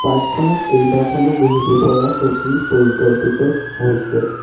Park খনত কেইবাখনো বহিব পৰা চকী পৰিকল্পিত হৈছে।